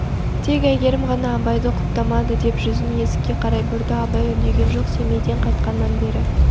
тек әйгерім ғана абайды құптамады деп жүзін есікке қарай бұрды абай үндеген жоқ семейден қайтқаннан бері